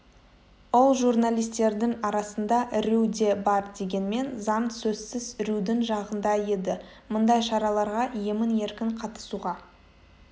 ол журналистердің арасында рью де бар дегенмен заң сөзсіз рьюдің жағында еді мұндай шараларға емін-еркін қатысуға